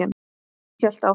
Hélt áfram.